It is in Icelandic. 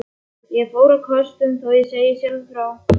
Ég fór á kostum, þó ég segi sjálfur frá.